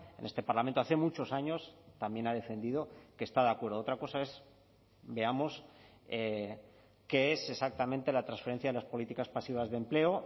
en este parlamento hace muchos años también ha defendido que está de acuerdo otra cosa es veamos qué es exactamente la transferencia de las políticas pasivas de empleo